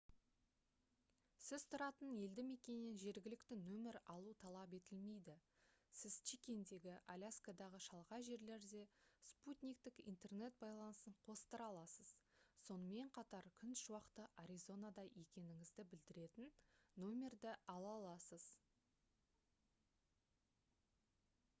сіз тұратын елді мекеннен жергілікті нөмір алу талап етілмейді сіз чиккендегі аляскадағы шалғай жерлерде спутниктік интернет байланысын қостыра аласыз сонымен қатар күн шуақты аризонада екеніңізді білдіретін нөмірді ала аласыз